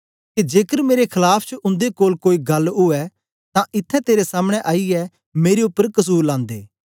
के जेकर मेरे खलाफ च उन्दे कोल कोई गल्ल ऊऐ तां इत्थैं तेरे सामने आईयै मेरे उपर कसुर लांदे